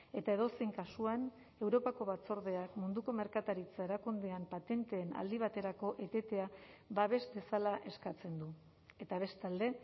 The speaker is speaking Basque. eta edozein kasuan europako batzordeak munduko merkataritza erakundean patenteen aldi baterako etetea babes dezala eskatzen du eta bestalde